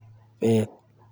Bet